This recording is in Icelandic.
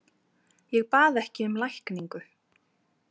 Ég bað ekki um lækningu.